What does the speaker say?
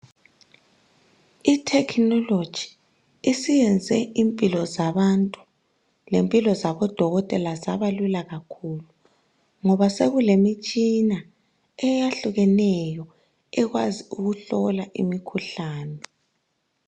I technology isiyenze impilo zabantu lezabo dokotela zabalula kakhulu ngoba sekulemitshina eyehlukeneyo ekwazi ukuhlola imikhuhlane.